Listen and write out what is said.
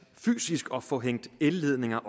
fysisk tager tid at få hængt elledninger